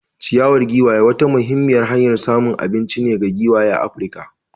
Ciyawar giwaye wata muhimmiyar hanyar samun abinci ce ga giwaye a Afirka.